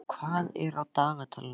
Eyríkur, hvað er á dagatalinu í dag?